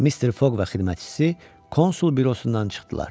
Mister Foq və xidmətçisi konsul bürosundan çıxdılar.